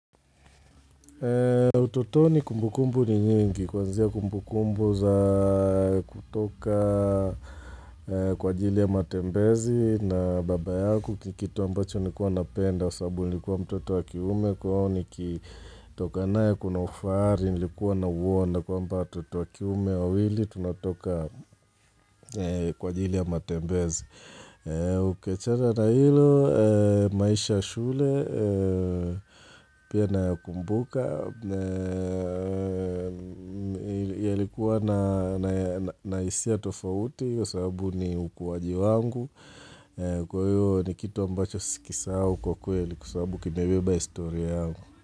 Utotoni kumbukumbu ni nyingi, kwanzia kumbukumbu za kutoka kwa ajili ya matembezi na baba yangu ni kitu ambacho nilikuwa napenda, sababu nilikuwa mtoto wa kiume, kwa hio nikitoka naye kuna ufahari, nilikuwa nauona kwamba watoto wa kiume, wawili, tunatoka kwa jili ya matembezi Ukiachana na hilo, maisha ya shule, pia nakumbuka, yalikuwa na hisia tofauti kwa sababu ni ukuwaji wangu, kwa hiyo ni kitu ambacho sikisahau kwa kweli, kwa sababu kimebeba historia hau.